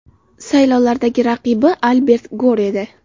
Saylovlardagi raqibi Albert Gor edi.